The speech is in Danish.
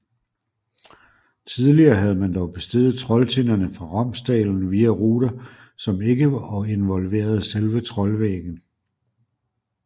Tidligere havde man dog besteget Trolltinderne fra Romsdalen via ruter som ikke involverede selve Trollveggen